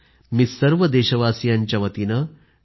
मी सर्व देशवासियांच्यावतीने डॉ